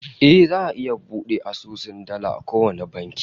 Eh, za'a iya bude asusun dala a kowane banki